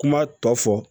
Kuma tɔ fɔ